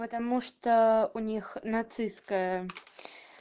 потому что у них нацистская